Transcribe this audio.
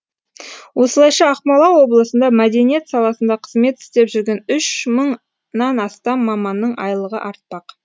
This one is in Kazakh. осылайша ақмола облысында мәдениет саласында қызмет істеп жүрген үш мыңнан астам маманның айлығы артпақ